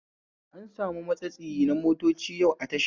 An sami matsatsi na motoci yau a tasha